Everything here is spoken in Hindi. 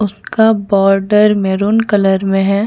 उसका बोर्डर मैरून कलर में है।